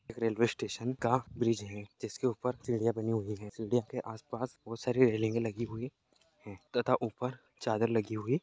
Railway station का bridge है जिसके उपर सिडिया बनी हुई हैं। सीढ़ियों के आस-पास बोहत सारी रेल्लिंगे लगी हुई हैं तथा उपर चादर लगी हुई --